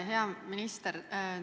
Hea minister!